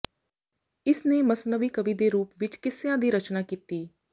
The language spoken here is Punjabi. ਇਸ ਨੇ ਮਸਨਵੀ ਕਵਿ ਰੂਪ ਵਿੱਚ ਕਿੱਸਿਆਂ ਦੀ ਰਚਨਾ ਕੀਤੀ